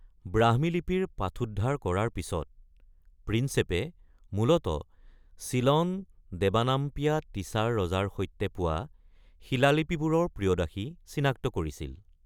ব্ৰাহ্মী লিপিৰ পাঠোদ্ধাৰ কৰাৰ পিছত, প্ৰিন্সেপে মূলতঃ চিলন দেৱানাম্পিয়া তিছাৰ ৰজাৰ সৈতে পোৱা শিলালিপিবোৰৰ 'প্ৰিয়দাসী' চিনাক্ত কৰিছিল।